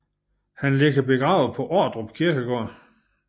Han ligger begravet på Ordrup Kirkegård